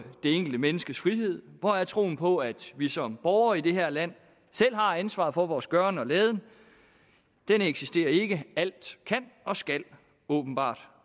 det enkelte menneskes frihed hvor er troen på at vi som borgere i det her land selv har ansvaret for vores gøren og laden den eksisterer ikke alt kan og skal åbenbart